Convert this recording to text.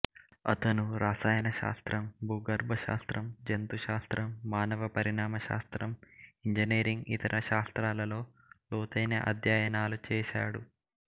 అతను రసాయనశాస్త్రం భూగర్భశాస్త్రం జంతుశాస్త్రం మానవ పరిమాణ శాస్త్రం ఇంజనీరింగ్ ఇతర శాస్త్రాలలో లోతైన అధ్యయనాలు చేశాడు